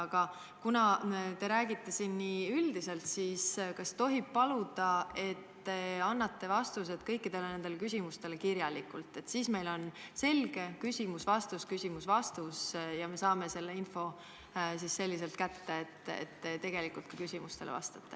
Aga kuna te räägite siin nii üldiselt, siis kas tohib paluda, et te annate vastused kõikidele nendele küsimustele kirjalikult, siis meil on selge: küsimus-vastus, küsimus-vastus, ja me saame info kätte, te vastate ka tegelikult küsimustele.